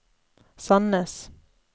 Sandnes